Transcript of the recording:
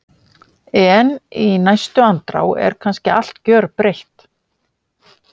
En í næstu andrá er kannski allt gjörbreytt.